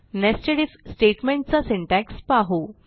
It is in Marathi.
nested आयएफ statementचा सिंटॅक्स पाहू